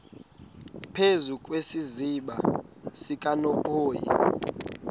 phezu kwesiziba sikanophoyi